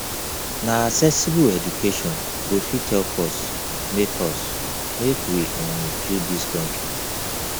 na accessible education go fit help us make us make we um build dis country